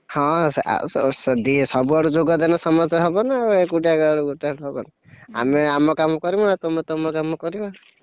ହଁ ଆସଦି ସବୁଆଡୁ ଯୋଗଦେଲେ ସମସ୍ତେ ହବ ନା ଆଉ ଏକୁଟିଆ କାହାଆଡୁ ଗୋଟାଏ ହେଲେ ହବନା, ଆମେ ଆମ କାମ କରିବୁନା ତୁମେ ତମ କାମ କରିବ।